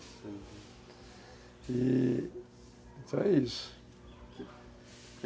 E... Então é isso.